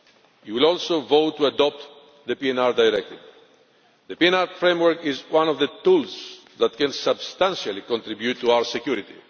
You will also vote to adopt the PNR Directive. The PNR framework is one of the tools that can substantially contribute to our security.